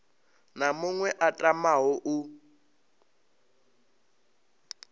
na muṅwe a tamaho u